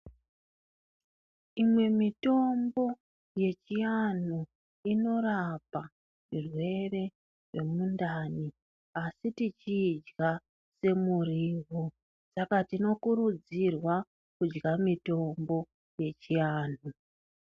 Imwe mitombo yechianhu inorapa zvirwere zvemundani asi tichiidya semuriwo saka tinokurudzirwa kudya mitombo yechianhu.